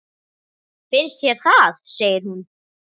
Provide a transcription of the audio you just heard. Finnst þér það, segir hún.